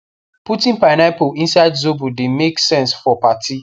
putting pineapple inside zobo the make sense for party